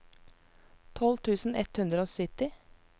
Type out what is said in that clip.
tolv tusen ett hundre og sytti